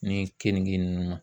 Ni kenige ninnu.